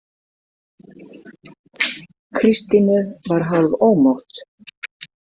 Kristínu var hálfómótt.